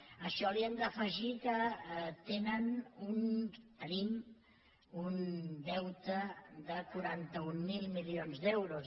a això hi hem d’afegir que tenen el tenim un deute de quaranta mil milions d’euros